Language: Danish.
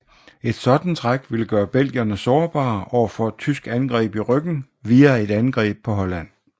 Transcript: Et sådant træk ville gøre belgierne sårbare overfor et tysk angreb i ryggen via et angreb på Holland